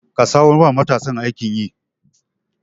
Ka samar wa matasan aikin yi.